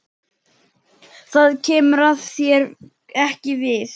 Það kemur þér ekki við.